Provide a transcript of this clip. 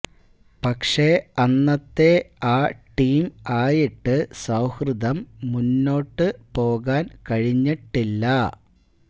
പക്ഷേ അന്നത്തെ ആ ടീം ആയിട്ട് സൌഹൃദം മുന്നോട്ട് പോകാന് കഴിഞ്ഞിട്ടില്ല